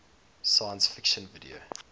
science fiction video